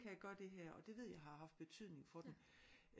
Kan jeg gøre det her og det ved jeg har haft betydning for dem